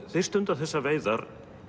þeir stunda þessar veiðar